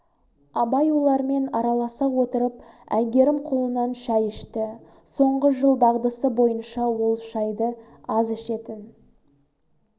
абай олармен араласа отырып әйгерім қолынан шай ішті соңғы жыл дағдысы бойынша ол шайды аз ішетін